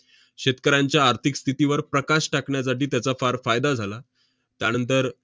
शेतकऱ्यांच्या आर्थिक स्थितीवर प्रकाश टाकण्यासाठी त्याचा फार फायदा झाला. त्यानंतर